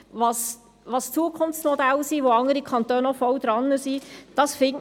Dies sind Zukunftsmodelle, und andere Kantone sind hier schon weit.